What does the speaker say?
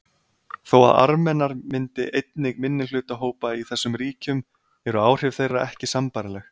Þó að Armenar myndi einnig minnihlutahópa í þessum ríkjum eru áhrif þeirra ekki sambærileg.